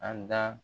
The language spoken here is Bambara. An da